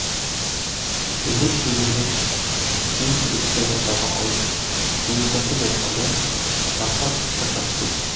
бөлме ішіндегілер күйеу жігітті ортаға алып дуылдасып жатқанда жаппар сыртқа шығып кетті